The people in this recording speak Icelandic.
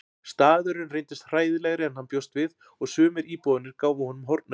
Staðurinn reyndist hræðilegri en hann bjóst við og sumir íbúarnir gáfu honum hornauga.